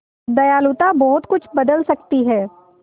दयालुता बहुत कुछ बदल सकती है